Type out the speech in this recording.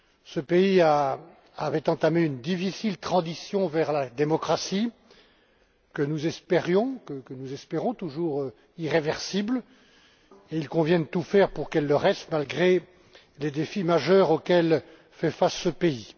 Ce pays avait entamé une difficile transition vers la démocratie que nous espérions, que nous espérons toujours, irréversible, et il convient de tout faire pour qu'elle le reste, malgré les défis majeurs auxquels fait face ce pays.